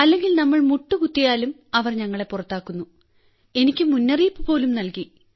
അല്ലെങ്കിൽ നമ്മൾ മുട്ടുകുത്തിയാലും അവർ ഞങ്ങളെ പുറത്താക്കുന്നു എനിക്ക് മുന്നറിയിപ്പ്പോലും നൽകി